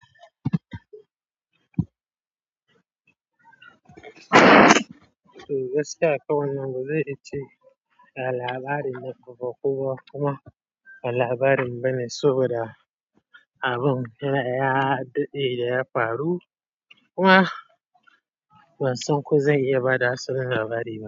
Toh gaskiya kawai wanda zai ce ya labarin da kuka kowa kuma labarin bane saboda abun da ya, dade da ya faru kuma wasanku zai iya bada asalin labarina.